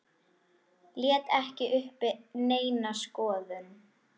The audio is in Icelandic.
Lét ekki uppi neina skoðun.